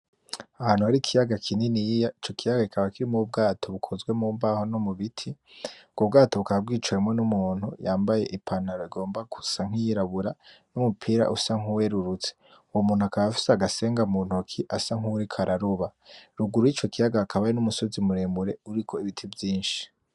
Ahantu harikiyaga kininiya, Ico kiyaga kikaba kirimwo Ubwato bukozwe mumbaho nomubiti, ubwo bwato bukaba bwicawemwo n'umuntu yambaye ipantaro igomba gusa nk'iyirabura n'umupira ushaka gusa nkuwerurutse, uwo muntu akaba afise agasenga muntoki asa nk'uwuriko araroba, ruguru y'ico kiyaga hariho umusozi muremure uriko Ibiti vyinshi.